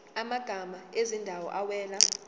amagama ezindawo awela